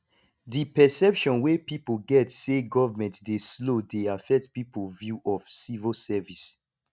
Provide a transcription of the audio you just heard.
the perception wey pipo get sey government dey slow dey affect pipo view of civil service